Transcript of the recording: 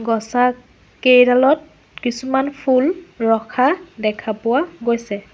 গছত কেইডালত কিছুমান ফুল ৰখা দেখা পোৱা গৈছে।